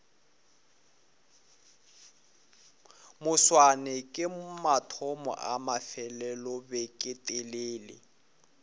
moswane ke mathomo a mafelelobeketelele